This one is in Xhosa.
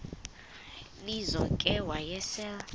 lizo ke wayesel